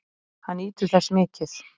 Hann nýtur þess mikið.